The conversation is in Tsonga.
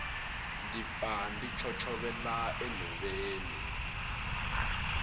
ndzi pfa ndzi chochovela enhoveni